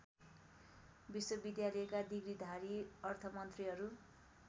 विश्वविद्यालयका डिग्रीधारी अर्थमन्त्रीहरू